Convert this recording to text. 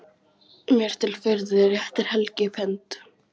Mér til furðu réttir Helgi upp hönd.